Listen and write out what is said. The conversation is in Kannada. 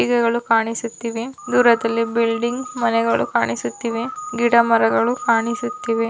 ಗಿಡಗಳು ಕಾಣಿಸುತ್ತಿವೆ ದೂರದಲ್ಲಿ ಬಿಲ್ಡಿಂಗ್ ಮನೆಗಳು ಕಾಣಿಸುತ್ತಿವೆ ಗಿಡ ಮರಗಳು ಕಾಣಿಸುತ್ತಿವೆ.